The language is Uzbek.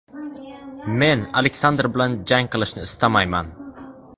Men Aleksandr bilan jang qilishni istamayman.